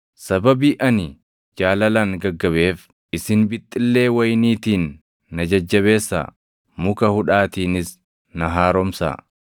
Sababii ani jaalalaan gaggabeef isin bixxillee wayiniitiin na jajjabeessaa; muka hudhaatiinis na haaromsaa.